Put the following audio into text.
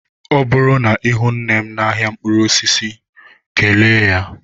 Ọ bụrụ na ihụ nnem n'ahịa mkpụrụ osisi kelee ya.